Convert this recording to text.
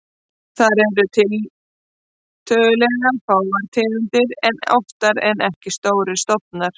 Þar eru tiltölulega fáar tegundir en oftar en ekki stórir stofnar.